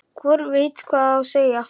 Hvorugt veit hvað á að segja.